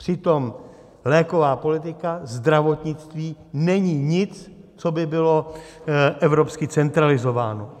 Přitom léková politika, zdravotnictví není nic, co by bylo evropsky centralizováno.